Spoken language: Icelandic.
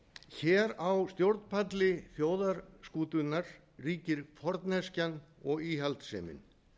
hér á stjórnpalli þjóðarskútunnar ríkir forneskjan og íhaldssemin